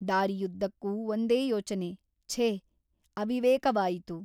ದಾರಿಯುದ್ದಕ್ಕೂ ಒಂದೇ ಯೋಚನೆ ಛೇ ಅವಿವೇಕವಾಯಿತು.